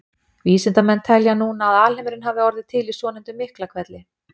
Vísindamenn telja núna að alheimurinn hafi orðið til í svonefndum Miklahvelli.